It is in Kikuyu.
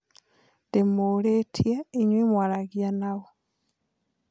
Ndimũũrĩtie inyue mũaragia naũ